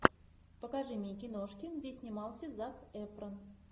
покажи мне киношки где снимался зак эфрон